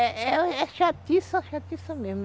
É chatiça, chatiça mesmo.